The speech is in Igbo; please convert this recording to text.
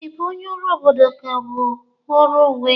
Ị bụ onye ọrụ obodo ka ọ bụ ọrụ onwe?